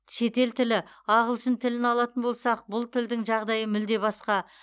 шетел тілі ағылшын тілін алатын болсақ бұл тілдің жағдайы мүлде басқа